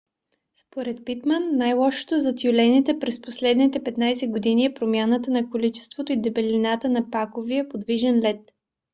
според питман най - лошото за тюлените през последните 15 години е промяната на количеството и дебелината на паковия подвижен лед